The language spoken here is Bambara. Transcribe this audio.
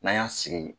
N'an y'an sigi